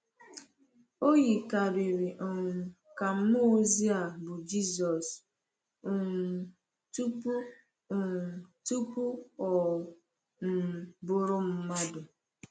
O yikarịrị um ka mmụọ ozi a bụ Jesus um tupu um tupu ọ um bụrụ mmadụ.